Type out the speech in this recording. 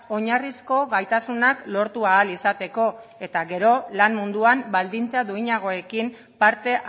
oinarrizko gaitasunak lortu ahal izateko eta gero lan munduan baldintza duinagoekin parte